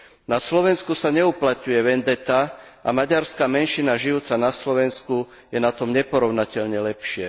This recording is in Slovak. Na Slovensku sa neuplatňuje vendeta a maďarská menšina žijúca na Slovensku je na tom neporovnateľne lepšie.